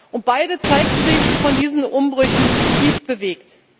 Und beide zeigten sich von diesen Umbrüchen tief bewegt.